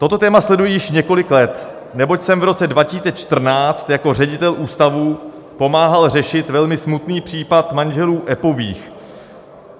"Toto téma sleduji již několik let, neboť jsem v roce 2014 jako ředitel ústavu pomáhal řešit velmi smutný případ manželů Eppových.